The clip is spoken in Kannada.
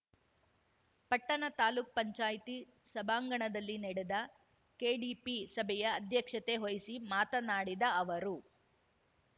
ಪಟ್ಟಣ ತಾಲೂಕ್ ಪಂಚಾಯ್ತಿ ಸಭಾಂಗಣದಲ್ಲಿ ನಡೆದ ಕೆಡಿಪಿ ಸಭೆಯ ಅಧ್ಯಕ್ಷತೆ ವಹಿಸಿ ಮಾತನಾಡಿದ ಅವರು